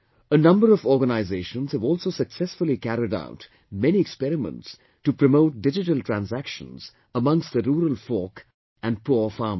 A number of organisations have also successfully carried out many experiments to promote digital transactions amongst the rural folk and poor farmers